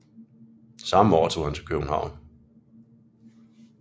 Samme år tog han til København